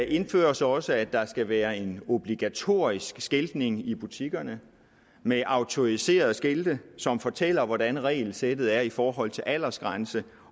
indføres også at der skal være en obligatorisk skiltning i butikkerne med autoriserede skilte som fortæller hvordan regelsættet er i forhold til aldersgrænse